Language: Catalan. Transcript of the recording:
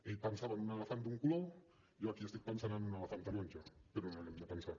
ell pensava en un elefant d’un color jo aquí estic pensant en un elefant taronja però no hi hem de pensar